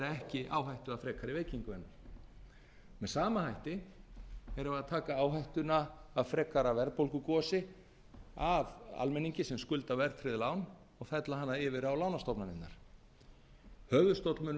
ekki áhættu af frekari veikingu hennar með sama hætti erum við að taka áhættuna af frekara verðbólgugosi af almenningi sem skuldar verðtryggð lán og fella hana yfir á lánastofnanirnar höfuðstóll mun